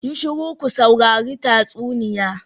Yi shiru ku saurari tatsuniya.